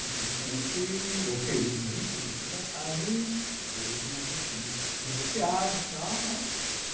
Infelizmente, ou felizmente, a gente nunca sabe, hoje nós estamos divorciados e tal, né?